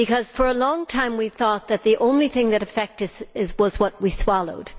For a long time we thought that the only thing that affected us was what we swallowed.